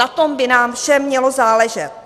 Na tom by nám všem mělo záležet.